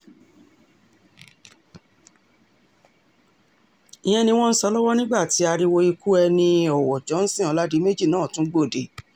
ìyẹn ni wọ́n ń sọ lọ́wọ́ nígbà tí ariwo ikú ẹni-ọwọ́ johnson ọládiméjì náà tún gbòde